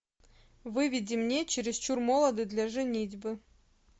выведи мне чересчур молоды для женитьбы